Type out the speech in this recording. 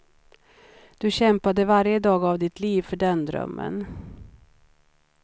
Du kämpade varje dag av ditt liv för den drömmen.